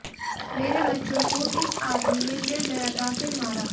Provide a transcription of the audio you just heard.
मेरे बच्चों को इस आदमी ने निर्दयता से मारा